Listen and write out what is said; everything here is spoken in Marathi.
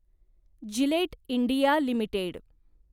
Gillette India limited